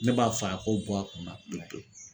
Ne b'a fɔ a ko bɔ a kun na pewu pewu